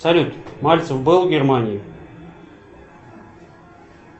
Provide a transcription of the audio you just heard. салют мальцев был в германии